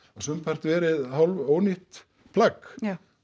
sumpart verið hálf ónýtt plagg